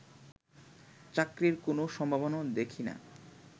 চাকরির কোনো সম্ভাবনাও দেখি না